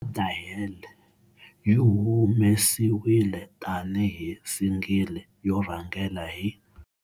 "What the Hell" yi humesiwile tani hi single yo rhangela hi.